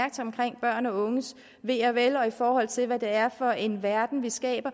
børn og unges ve og vel og i forhold til hvad det er for en verden vi skaber